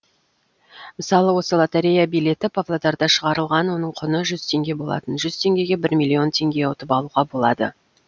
мысалы осы лотерея билеті павлодарда шығарылған оның құны жүз теңге болатын жүз теңгеге бір миллион теңге ұтып алуға болады